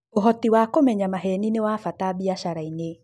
ũhoti wa kũmenya maheni nĩ wa bata biacara-inĩ.